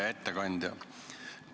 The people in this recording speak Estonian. Hea ettekandja!